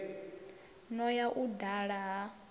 no ya u dala ha